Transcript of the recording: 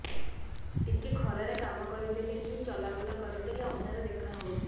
ଟିକେ ଖରା ରେ କାମ କରିଦେଲେ କି ଚଲବୁଲା କରିଦେଲେ ଅନ୍ଧାର ଦେଖା ହଉଚି